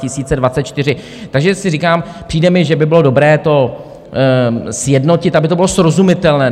Takže si říkám, přijde mi, že by bylo dobré to sjednotit, aby to bylo srozumitelné.